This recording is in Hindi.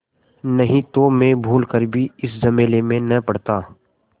नहीं तो मैं भूल कर भी इस झमेले में न पड़ता